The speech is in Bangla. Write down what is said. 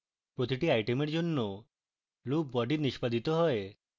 প্রতিটি item জন্য loop body নিষ্পাদিত হয়